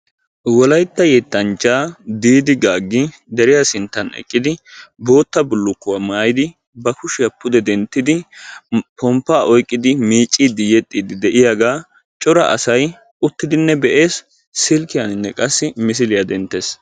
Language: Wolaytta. Wolaytta yettanchcha Diidi Gaagi deriyaa sinttan eqqidi bootta bulukkuwaa maayyidi ba kushiyaan pomppa oyqqidi yexxidi de'iyaagaa cora asay uttidinne be'ees; silkkiyaan qassi misiliyaaa denttees.